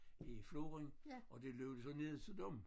I floren og det løb så ned til dem